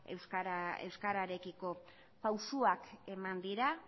euskararekiko pausuak eman dira